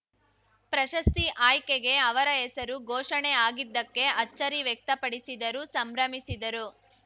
ಪ್ರಶಸ್ತಿ ಆಯ್ಕೆಗೆ ಅವರ ಹೆಸರು ಘೋಷಣೆ ಆಗಿದ್ದಕ್ಕೆ ಅಚ್ಚರಿ ವ್ಯಕ್ತಪಡಿಸಿದರು ಸಂಭ್ರಮಿಸಿದರು